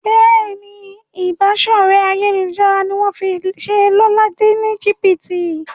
Béèni Ìbáṣọ̀rẹ́ ayélujára ní wón fí ṣe Lọla ní jibiti.